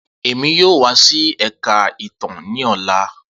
Emi yoo wa si Ẹka Itan ni ọla.